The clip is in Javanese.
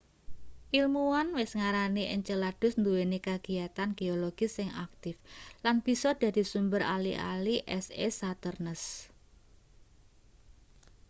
ilmuwan wis ngarani enceladus nduweni kagiyatan geologis sing aktif lan bisa dadi sumber ali-ali es e saturnus